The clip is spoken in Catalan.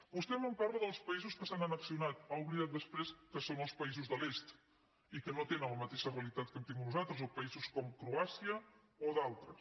vostè em parla dels països que s’han annexionat ha oblidat després que són els que països de l’est i que no tenen la mateixa realitat que hem tingut nosaltres o paï sos com croàcia o d’altres